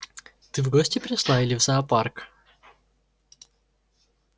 ты в гости пришла или в зоопарк